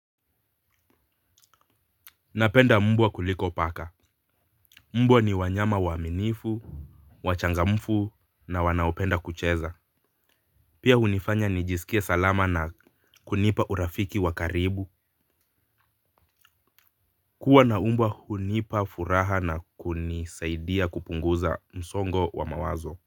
Napenda mbwa kuliko paka. Mbwa ni wanyama waaminifu, wachangamfu na wanaopenda kucheza. Pia hunifanya nijisikie salama na kunipa urafiki wa karibu. Kuwa na mbwa hunipa furaha na kunisaidia kupunguza msongo wa mawazo.